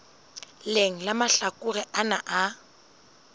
leng la mahlakore ana a